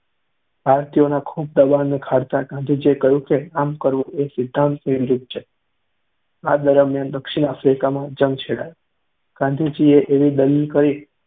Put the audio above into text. ભારતીયોના ખૂબ દબાણને ખાળતાંં ગાંધીજીએ કહ્યું કે આમ કરવું તેમના સિદ્ધાંતની વિરુદ્ધ છે. આ દરમ્યાન દક્ષિણ આફ્રિકામાં જંગ છેડાયો. ગાંધીજીએ એવી દલીલ કરી